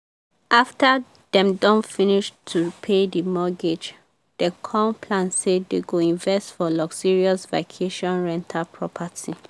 after dem don finish to pay the mortgage dem con plan say dem go invest for luxurious vacation rental property.